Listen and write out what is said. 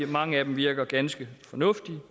mange af dem virker ganske fornuftige